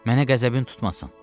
Mənə qəzəbin tutmasın.